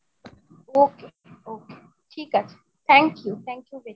ok ok ঠিক আছে thank you, thank you very much!